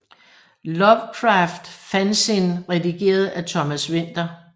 Lovecraft fanzine redigeret af Thomas Winther